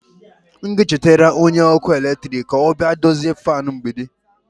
M ga-echetara onye ọkụ eletrik ka ọ bịa dozie fan mgbidi.